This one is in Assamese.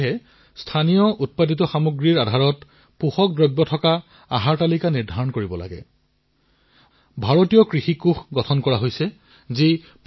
সেয়ে এয়া অতিশয় গুৰুত্বপূৰ্ণ যে প্ৰতিটো অঞ্চলৰ জলবায়ু সেই স্থানৰ স্থানীয় ভোজন আৰু তাত উৎপাদিত অন্ন ফল শাকপাচলি অনুসৰি পোষক পুষ্টিসমৃদ্ধ খাদ্যাভ্যাস গঢ়ি উঠক